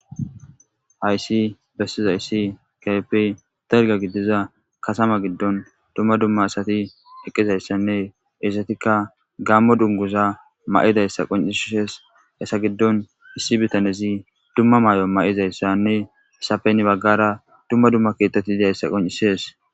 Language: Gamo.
Hayisi besizayisi kehippe daliga gidida katama giddoni dumma dumma asati eqizayisanne heyisatikka Gamo duniguza mayidayisa qoncisesi hesa giddoni issi bitannezi dumma mayo mayizayisanne hesappe hani bagara dumma dumma keeththati dizayisa qoncisesi